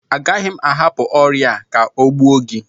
Agaghị m ahapụ ọrịa a ka ọ gbuo gị